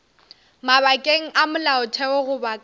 mabakeng a molaotheo goba ka